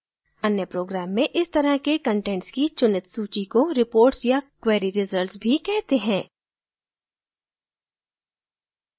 अन्य programs में इस तरह के कंटेंट्स की चुनित such को reports या query results भी कहते हैं